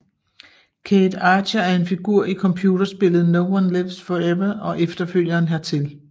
Cate Archer er en figur i computerspillet No One Lives Forever og efterfølgeren hertil